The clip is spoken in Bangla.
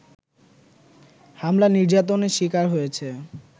হামলা-নির্যাতনের শিকার হয়েছে